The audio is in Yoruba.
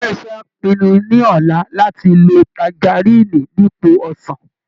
Ilé iṣẹ́ á pinnu ní ọ̀la láti lo tangaríìnì ni ipò ọsàn